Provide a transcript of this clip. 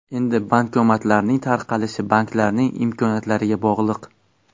Endi bankomatlarning tarqalishi banklarning imkoniyatlariga bog‘liq.